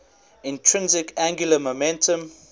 intrinsic angular momentum